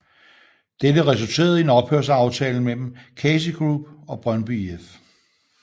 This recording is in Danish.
Dette resulterede i en ophørsaftale mellem KasiGroup og Brøndby IF